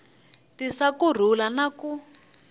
tisa ku rhula na ku